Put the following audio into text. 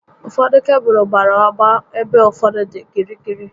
Ụfọdụ kebụlụ gbárá agba ebe ụfọdụ dị gịrịgịrị